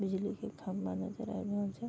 बिजली के खम्बा नजर आएब रहल छे।